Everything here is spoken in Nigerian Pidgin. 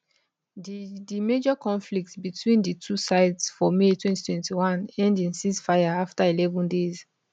di di major conflict between di two sides for may 2021 end in ceasefire afta eleven days